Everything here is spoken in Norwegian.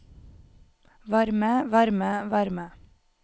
varme varme varme